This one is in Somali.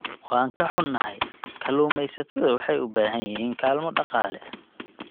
Waan ka xunnahay, kalluumaysatada waxay u baahan yihiin kaalmo dhaqaale.